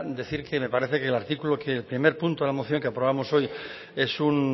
decir que me parece que el artículo que el primer punto de la moción que aprobamos hoy es un